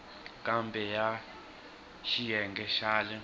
kumbe ya xiyenge xa le